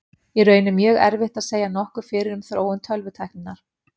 Í raun er mjög erfitt að segja nokkuð fyrir um þróun tölvutækninnar.